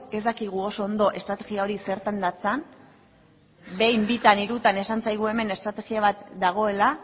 ez dakigu oso ondo estrategia hori zertan datzan behin bitan hirutan esan zaigu hemen estrategia bat dagoela